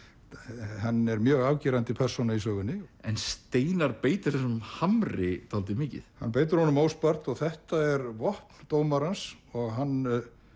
hann er mjög afgerandi persóna í sögunni en Steinar beitir þessum hamri dálítið mikið hann beitir honum óspart og þetta er vopn dómarans og hann